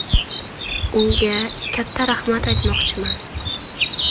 Unga katta rahmat aytmoqchiman.